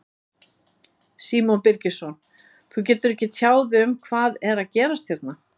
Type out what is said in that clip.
Símon Birgisson: Þú getur ekki tjáð þig um hvað er að gerast hérna?